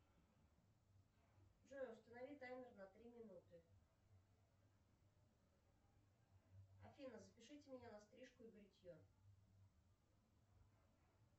джой установи таймер на три минуты афина запишите меня на стрижку и бритье